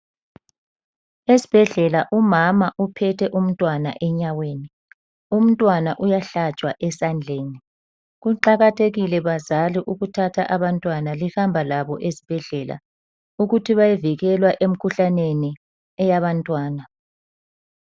Esibhedlela umama uphethe umntwana enyaweni, umntwana uyahlatshwa esandleni. Kuqakathekile bazali ukuthatha abantwana lihamba labo esibhedlela ukuthi bayovikelwa emikhuhlaneni eyabantwana.